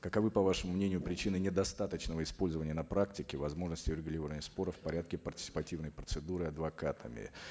каковы по вашему мнению причины недостаточного использования на практике возможностей урегулирования споров в порядке партисипативной процедуры адвокатами